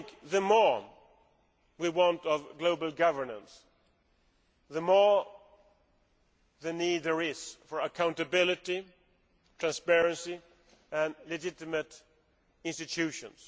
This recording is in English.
The more we want global governance, the more need there is for accountability, transparency and legitimate institutions.